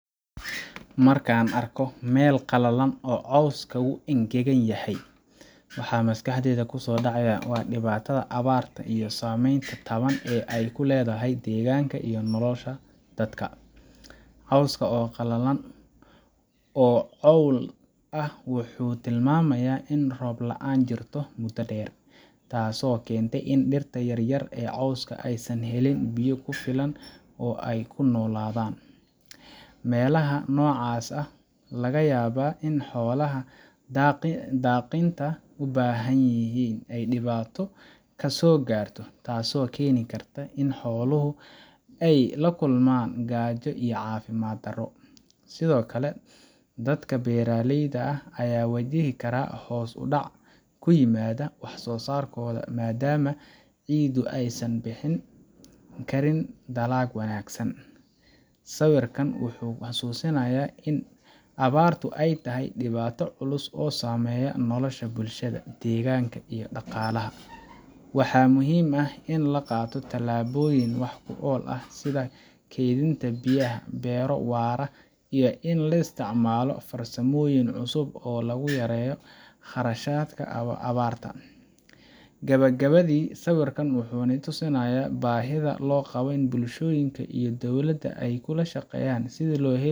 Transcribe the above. Markaan arko meel qalalan oo coska qalalan yahay, waa sameyn aay kuledahay deeganka, wuxuu tilmaya roob laan deer, laga yaaba in xoalaha daqinta aay dibaato kasoo gaarto, sido kale waxeey wajihi karaan hoos udac sawiraan wuxuu, waxaa muhiim ah in la qaato tilaboyin fican, iyo in la isticmaalaa farsamoyin, faido loo yaqaano bulshada iyo dowlada.